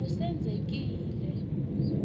ngusenzekile